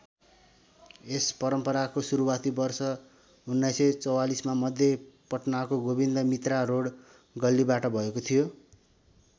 यस परम्पराको सुरुवाती वर्ष १९४४ मा मध्य पटनाको गोविन्द मित्रा रोड गल्लीबाट भएको थियो।